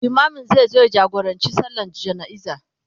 limamin zai zo ya jagorancin sallan jana'iza